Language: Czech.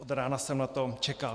Od rána jsem na to čekal.